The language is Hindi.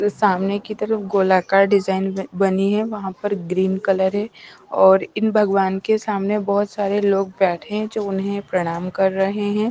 सामने की तरफ गोलाकार डिजाइन बनी है वहाँ पर ग्रीन कलर है और इन भगवान के सामने बहुत सारे लोग बैठे हैं जो उन्हें प्रणाम कर रहे हैं।